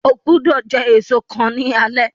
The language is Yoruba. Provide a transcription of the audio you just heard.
Ogbọ́do jẹ èso kan ní alé